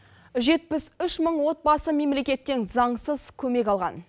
жетпіс үш мың отбасы мемлекеттен заңсыз көмек алған